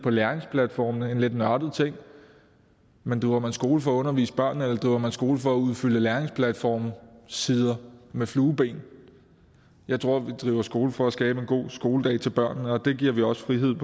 læringsplatformene en lidt nørdet ting men driver man skole for at undervise børnene eller driver man skole for at udfylde læringsplatformsider med flueben jeg tror vi driver skole for at skabe en god skoledag til børnene og det giver vi også frihed